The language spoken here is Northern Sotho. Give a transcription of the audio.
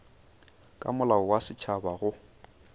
ka molao wa setšhaba go